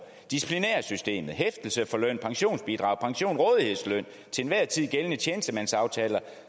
disciplinærsystemet hæftelse for løn pensionsbidrag pension rådighedsløn til enhver tid gældende tjenestemandsaftaler